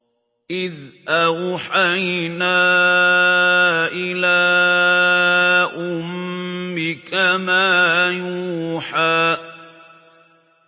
إِذْ أَوْحَيْنَا إِلَىٰ أُمِّكَ مَا يُوحَىٰ